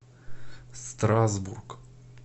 страсбург